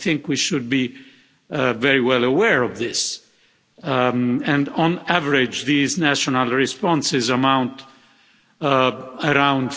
I think we should be very well aware of this and on average these national responses amount to around